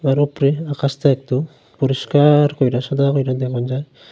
এর উপরে আকাশটা একদম পরিষ্কার কইরা সাদা কইরা দেখন যায়।